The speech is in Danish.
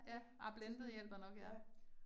Ja, det, ja